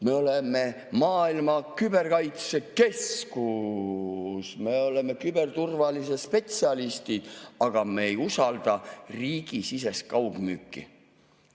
Me oleme maailma küberkaitsekeskus, me oleme küberturvalisuse spetsialistid, aga me ei usalda riigisisest kaugmüüki.